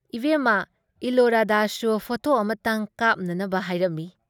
ꯏꯕꯨꯦꯝꯃ ꯏꯂꯣꯔꯥꯗꯁꯨ ꯐꯣꯇꯣ ꯑꯃꯇꯪ ꯀꯥꯞꯅꯅꯕ ꯍꯥꯏꯔꯝꯃꯤ ꯫